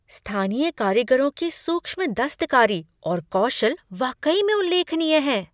स्थानीय कारीगरों की सूक्ष्म दस्तकारी और कौशल वाकई में उल्लेखनीय है।